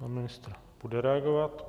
Pan ministr bude reagovat.